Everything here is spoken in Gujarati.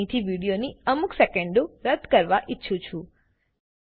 હું અહીંથી વિડીયોની અમુક સેકેંડો રદ્દ કરવા ઈચ્છું છું